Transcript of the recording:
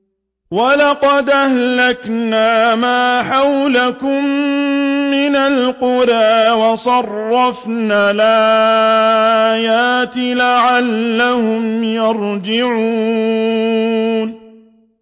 وَلَقَدْ أَهْلَكْنَا مَا حَوْلَكُم مِّنَ الْقُرَىٰ وَصَرَّفْنَا الْآيَاتِ لَعَلَّهُمْ يَرْجِعُونَ